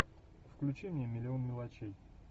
включи мне миллион мелочей